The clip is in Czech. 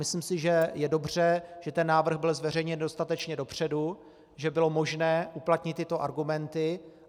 Myslím si, že je dobře, že ten návrh byl zveřejněn dostatečně dopředu, že bylo možné uplatnit tyto argumenty.